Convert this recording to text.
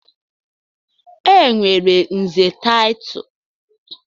Enwere nze title.